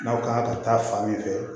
N'aw ka kan ka taa fan min fɛ